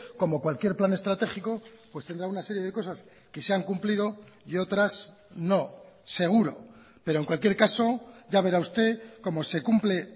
como cualquier plan estratégico pues tendrá una serie de cosas que se han cumplido y otras no seguro pero en cualquier caso ya verá usted como se cumple